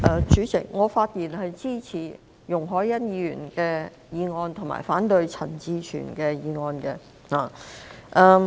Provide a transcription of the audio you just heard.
主席，我發言支持容海恩議員的議案，以及反對陳志全議員的議案。